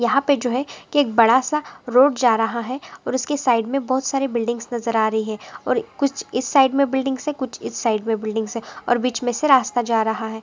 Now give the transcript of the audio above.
यहाँ पे जो है बडा सा रोड जा रहा है और इसके साइड मे बहुत सारे बिल्डिंग्स नजर आ रही है और कुछ इस साइड मे बिल्डिंग्स है और बिच मे से रास्ता जा रहा है।